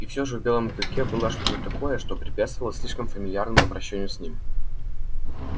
и всё же в белом клыке была что то такое что препятствовало слишком фамильярному обращению с ним